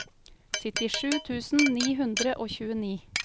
syttisju tusen ni hundre og tjueni